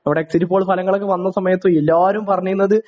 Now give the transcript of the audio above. ഇവിടെ exit poll ഫലങ്ങളൊക്കെ വന്ന സമയത്ത് എല്ലാരും പറഞ്ഞിരുന്നത്